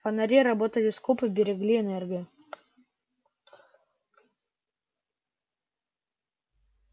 фонари работали скупо берегли энергию